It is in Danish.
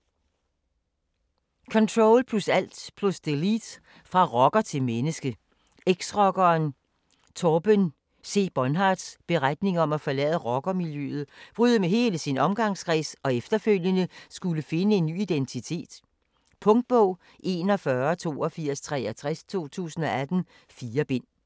Ctrl+alt + delete: fra rocker til menneske Eks-rockeren Torben C-Bohnhardts beretning om at forlade rockermiljøet, bryde med hele sin omgangskreds og efterfølgende skulle finde en ny identitet. Punktbog 418263 2018. 4 bind.